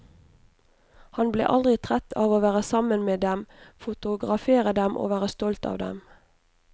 Han ble aldri trett av å være sammen med dem, fotografere dem og være stolt av dem.